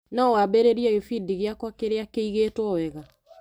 No wambĩrĩrie gĩbindi gĩakwa kĩrĩa kĩigĩtwo wega.